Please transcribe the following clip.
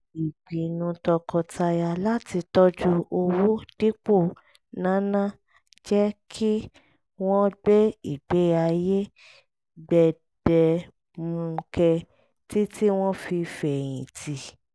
ìpinnu tọkọtaya láti tọ́jú owó dípò náná jẹ́ kí wọ́n gbé ìgbé ayé gbẹdẹmukẹ títí wọ́n fi fẹ̀yìn tì